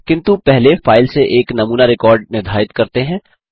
किन्तु पहले फाइल से एक नमूना रिकॉर्ड निर्धारित करते हैं